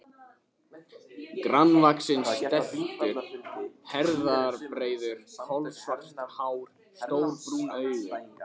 Grannvaxinn, stæltur, herðabreiður, kolsvart hár, stór brún augu.